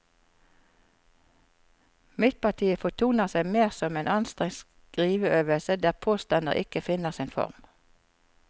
Midtpartiet fortoner seg mer som en anstrengt skriveøvelse der påstander ikke finner sin form.